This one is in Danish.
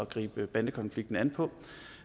gribe bandekonflikten an på